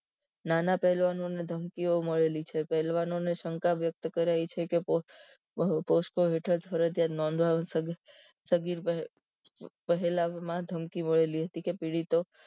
નાના પહેલવાનો ને ધમકીઓ મળેલી છે પહેલવાનોને શંકા વ્યક્ત કરાઈ છે કે પોસ પો ફરજીયાત નોધવા પહેલામાં ધમકી મળેલી હતી કે પીડીડતો